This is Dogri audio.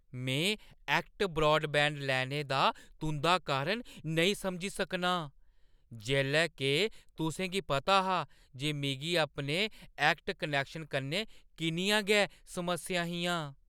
में ऐक्ट ब्रॉडबैंड लैने दा तुंʼदा कारण नेईं समझी सकनां जेल्लै के तुसें गी पता हा जे मिगी अपने ऐक्ट कनैक्शन कन्नै किन्नियां गै समस्यां हियां।